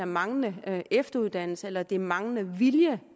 manglende efteruddannelse eller det er manglende vilje